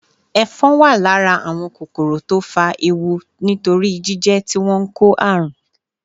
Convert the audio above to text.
Ẹ̀fọn wà lára ​​àwọn kòkòrò tó fa ewu nítorí jíjẹ́ tí wọ́n ń kó àrùn.